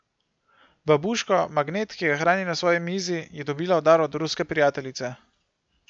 Babuško, magnet, ki ga hrani na svoji mizi, je dobila v dar od ruske prijateljice.